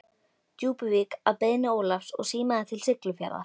Djúpuvík að beiðni Ólafs og símaði til Siglufjarðar.